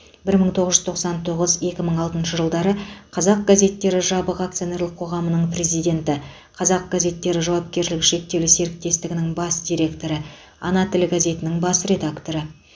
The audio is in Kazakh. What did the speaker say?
бір мың тоғыз жүз тоқсан тоғыз екі мың алтыншы жылдары қазақ газеттері жабық акционерлік қоғамының президенті қазақ газеттері жауапкершілігі шектеулі серіктестігінің бас директоры ана тілі газетінің бас редакторы